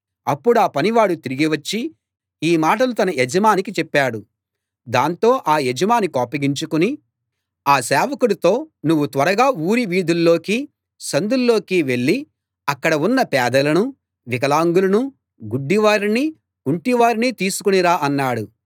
అప్పుడా పనివాడు తిరిగి వచ్చి ఈ మాటలు తన యజమానికి చెప్పాడు దాంతో ఆ యజమాని కోపగించుకుని ఆ సేవకుడితో నువ్వు త్వరగా ఊరి వీధుల్లోకీ సందుల్లోకీ వెళ్ళి అక్కడ ఉన్న పేదలనూ వికలాంగులనూ గుడ్డివారినీ కుంటివారినీ తీసుకుని రా అన్నాడు